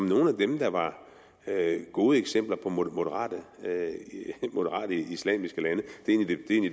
nogle af dem der var gode eksempler på moderate islamiske lande